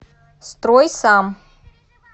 стройсам